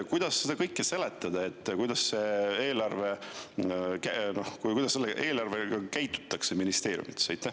Kuidas seda kõike seletada, kuidas eelarvega ministeeriumides käitutakse?